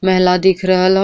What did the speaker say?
मेला दिख रहल ह।